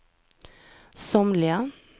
somliga